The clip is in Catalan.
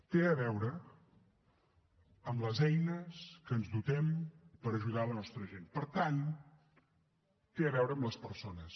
té a veure amb les eines de què ens dotem per ajudar la nostra gent per tant té a veure amb les persones